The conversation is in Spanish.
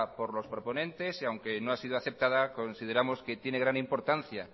por los proponentes y aunque no ha sido aceptada consideramos que tiene gran importancia